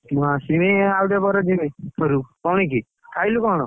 ମୁଁଁ ଆସିମୀ ଆଉ ଟିକେ ପରେ ଯିମି ଘରକୁ। କଣ କି ଖାଇଲୁ କଣ?